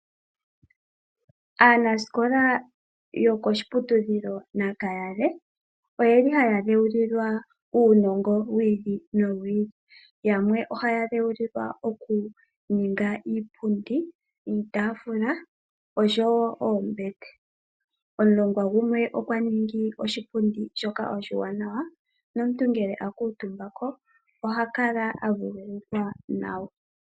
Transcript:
Aanasikola yokoshiputudhilo Nakayale oye li haya dhewulilwa uunongo wiili nowiili yamwe oha ya dhewulilwa okuninga iipundi, iitafula oshowo oombete. Omulongwa gumwe okwa ningi oshipundi shoka oshiwanawa nomuntu ngele a kuutumbako oha kala a vululukwa nawa.